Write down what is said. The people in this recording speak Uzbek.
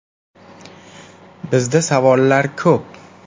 Bizda savollar ko‘p.